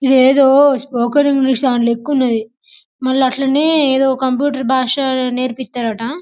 ఇది ఏదో spoken English దాని లెక్క ఉంది మళ్లీ అది అట్లనే కంప్యూటర్ భాష నేర్పిస్తారు అంట.